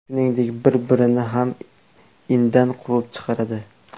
Shuningdek, bir-birini ham indan quvib chiqaradi.